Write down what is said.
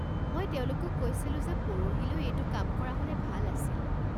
মই তেওঁলোকক কৈছিলোঁ যে পৰহিলৈ এইটো কাম কৰা হ'লে ভাল আছিল।